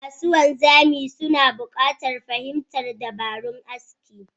Masu wanzami suna buƙatar fahimtar dabarun aski